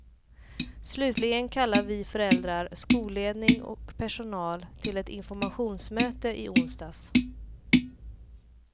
Slutligen kallade vi föräldrar, skolledning och personal, till ett informationsmöte i onsdags.